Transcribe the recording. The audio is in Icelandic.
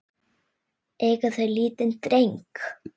Eiga þau lítinn dreng.